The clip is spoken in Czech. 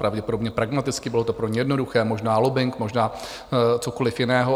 Pravděpodobně pragmaticky, bylo to pro ně jednoduché, možná lobbing, možná cokoliv jiného.